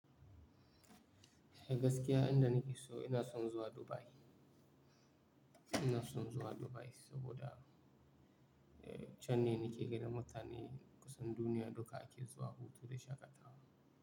Eh gaskiya inda nake so ina son zuwa Dubai. Ina son zuwa Dubai saboda can ne nake gani mutane kusan duniya duka ake zuwa hutu da shakatawa.